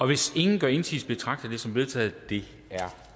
hvis ingen gør indsigelse betragter jeg det som vedtaget det er